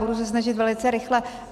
Budu se snažit velice rychle.